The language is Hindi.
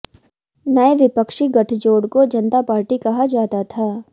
नए विपक्षी गठजोड को जनता पार्टी कहा जाता था